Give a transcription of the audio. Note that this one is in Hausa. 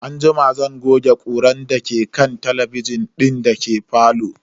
Anjima zan goge ƙurar da ke jikin kan talabijin din dake falo.